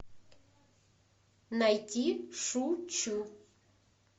найти шучу